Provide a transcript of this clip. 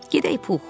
Gedək Pux.